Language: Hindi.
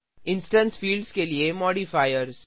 इंस्टेंस फिल्ड्स के लिए मॉडिफायर्स